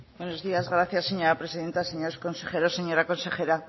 buenos días gracias señora presidenta señores consejeros señora consejera